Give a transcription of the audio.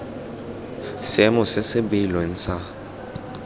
seemo se se beilweng sa